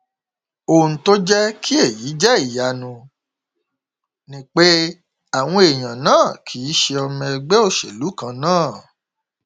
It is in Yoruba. ohun tó jẹ kí èyí jẹ ìyanu ni pé àwọn èèyàn náà kì í ṣe ọmọ ẹgbẹ òṣèlú kan náà